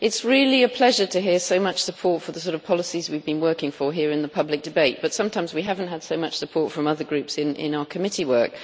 it's really a pleasure to hear so much support for the sort of policies we've been working for here in the public debate, but sometimes we haven't had so much support from other groups in in our committee work.